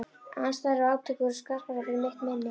Andstæður og átök voru skarpari fyrir mitt minni.